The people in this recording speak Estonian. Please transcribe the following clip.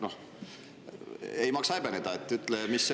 Noh, ei maksa häbeneda, ütle, mis see …